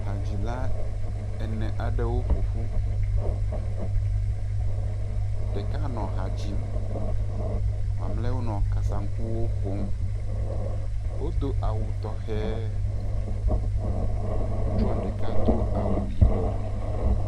Hadzila ene aɖewo ƒoƒu. Ɖeka hã nɔ ha dzim. Mamleawo nɔ kasaŋkuwo ƒom. Wodo awu tɔxɛ. Ŋutsua ɖeka do awu yibɔ.